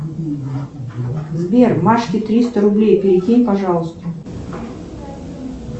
сбер машке триста рублей перекинь пожалуйста